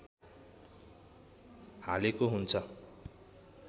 हालेको हुन्छ